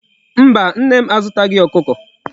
Mba, Nne m azutaghi Okuko